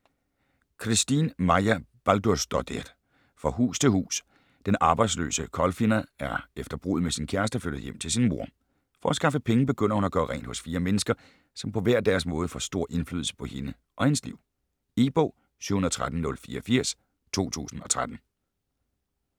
Kristín Marja Baldursdóttir: Fra hus til hus Den arbejdsløse Kolfinna er efter bruddet med sin kæreste flyttet hjem til sin mor. For at skaffe penge begynder hun at gøre rent hos fire mennesker, som på hver deres måde får stor indflydelse på hende og hendes liv. E-bog 713084 2013.